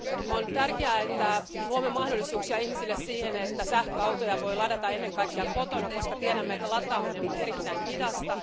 On tärkeää, että luomme mahdollisuuksia ihmisille siihen, että sähköautoja voi ladata ennen kaikkea kotona, koska tiedämme, että lataaminen on erittäin hidasta.